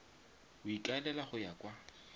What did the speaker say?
o ikaelela go ya kwa